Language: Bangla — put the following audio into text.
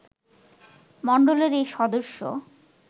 মন্ডলীর এই সদস্য